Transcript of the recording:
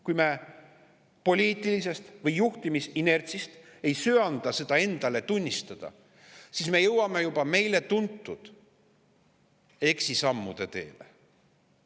Kui me poliitilisest või juhtimisinertsist ei söanda seda endale tunnistada, siis me jõuame juba meile tuntud eksisammude teele.